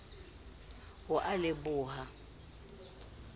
ho a le b ha